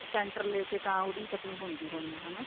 center ਲੈ ਕੇ ਤਾਂ ਉਹਦੀ cutting ਹੁੰਦੀ ਹੋਣੀ ਏ ਹਨਾ